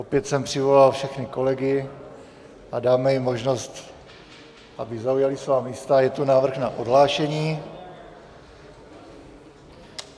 Opět jsem přivolal všechny kolegy a dáme jim možnost, aby zaujali svá místa, a je tu návrh na odhlášení.